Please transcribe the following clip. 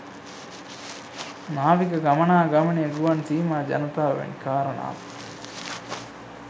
නාවික ගමනාගමනය ගුවන් සීමා ජනතාව වැනි කාරණාත්